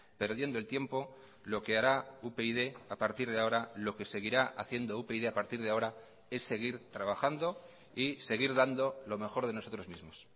perdiendo el tiempo lo que hará upyd a partir de ahora lo que seguirá haciendo upyd a partir de ahora es seguir trabajando y seguir dando lo mejor de nosotros mismos